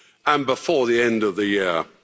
and before the end of the